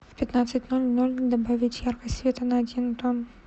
в пятнадцать ноль ноль добавить яркость света на один тон